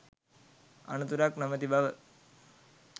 අනතුරක් නොමැති බව